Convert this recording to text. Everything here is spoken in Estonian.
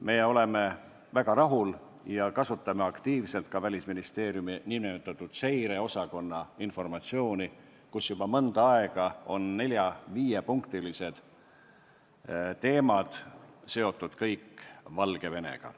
Me oleme väga rahul ja kasutame aktiivselt ka Välisministeeriumi nn seireosakonna informatsiooni, kus juba mõnda aega on kõik 4–5-punktilised teemad olnud seotud Valgevenega.